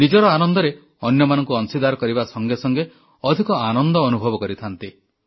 ନିଜର ଆନନ୍ଦରେ ଅନ୍ୟମାନଙ୍କୁ ଅଂଶୀଦାର କରିବା ସଙ୍ଗେ ସଙ୍ଗେ ଅଧିକ ଆନନ୍ଦ ଅନୁଭବ କରିଥାନ୍ତି